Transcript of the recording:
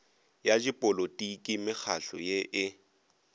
ya dipolotiki mekgahlo ye e